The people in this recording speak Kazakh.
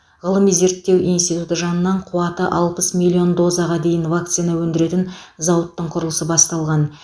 ғылыми зерттеу институты жанынан қуаты алпыс миллион дозаға дейін вакцина өндіретін зауыттың құрылысы басталған